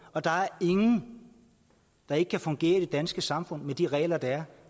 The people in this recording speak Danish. og der er ingen der ikke kan fungere i det danske samfund med de regler der er